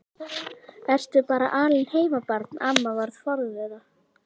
Ertu bara alein heima barn? amma var forviða.